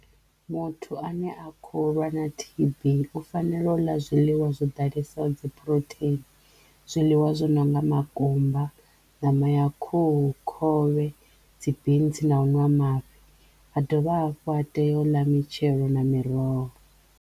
Muthu a ne a kho lwa na T_B u fanela u ḽa zwiḽiwa zwo ḓalesa dzi phurotheini zwiḽiwa zwo nonga makumba, ṋama ya khuhu, khovhe, dzi bintsi na u nwa mafhi a dovha hafhu a teyo u ḽa mitshelo na miroho.